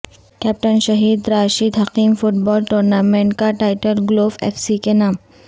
captain شہید Rashid Hakim football tournament کاٹائٹل گلوف ایف سی کے نام